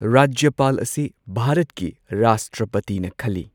ꯔꯥꯖ꯭ꯌꯄꯥꯜ ꯑꯁꯤ ꯚꯥꯔꯠꯀꯤ ꯔꯥꯁꯇ꯭ꯔꯄꯇꯤꯅ ꯈꯜꯂꯤ꯫